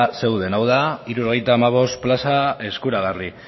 zeuden hau da hirurogeita hamabost plaza eskuragarri